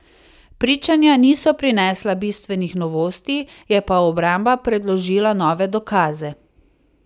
Pričanja niso prinesla bistvenih novosti, je pa obramba predložila nove dokaze.